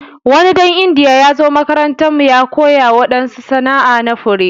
Wani dan indiya ya zo makarantan mu ya koya wadansu sana'a na fure.